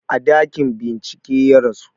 A ɗakin bincike ya rasu